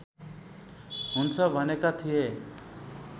हुन्छ भनेका थिए